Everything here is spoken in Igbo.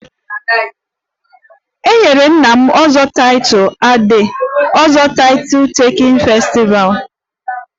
E nyere nna m 'ozo'title at the ozo title taking festival